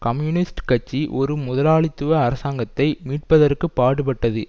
communist கட்சி ஒரு முதலாளித்துவ அரசாங்கத்தை மீட்பதற்கு பாடுபட்டது